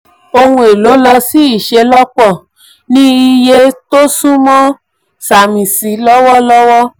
oun elo lọ sí iṣelọpọ ní iye tí iye tí o sunmọ samisi lọwọlọwọ.